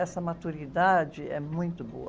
Essa maturidade é muito boa.